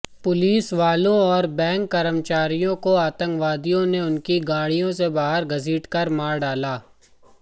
पुलिसवालों और बैंक कर्मचारियों को आतंकवादियों ने उनकी गाड़ियों से बाहर घसीटकर मार डाला था